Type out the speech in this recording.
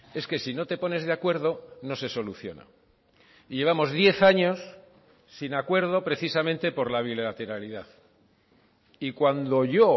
es que si no te pones de acuerdo no se soluciona y llevamos diez años sin acuerdo precisamente por la bilateralidad y cuando yo